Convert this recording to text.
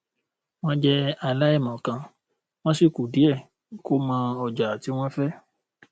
wọn jẹ aláìmọkan wọn sì kù díẹ kó mọ ọjà tí wọn fẹ